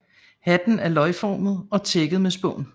Hatten er løgformet og tækket med spån